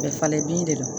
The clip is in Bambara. Bɛ falen bin de do